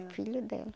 filho dela.